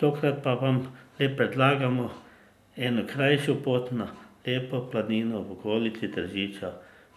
Tokrat pa vam le predlagamo eno krajšo pot na lepo planino v okolici Tržiča,